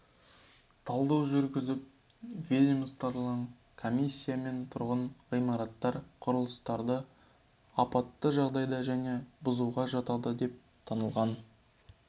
талдау жүргізіліп ведомствоаралық комиссиямен тұрғын ғимараттар мен құрылыстарды апатты жағдайда және бұзуға жатады деп танылған